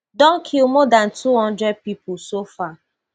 don kill more dan two hundred pipo so far